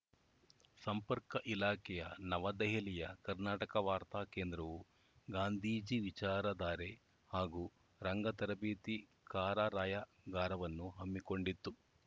ಸಂಪರ್ಕ ಇಲಾಖೆಯ ನವದೆಹಲಿಯ ಕರ್ನಾಟಕ ವಾರ್ತಾ ಕೇಂದ್ರವು ಗಾಂಧೀಜಿ ವಿಚಾರಧಾರೆ ಹಾಗೂ ರಂಗ ತರಬೇತಿ ಕಾರಾರ‍ಯಗಾರವನ್ನು ಹಮ್ಮಿಕೊಂಡಿತ್ತು